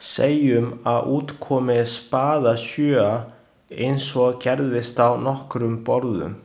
Segjum að út komi spaðasjöa, eins og gerðist á nokkrum borðum.